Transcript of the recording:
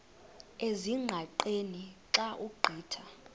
ezingqaqeni xa ugqitha